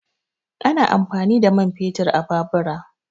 Ana amfani da man fetur a babura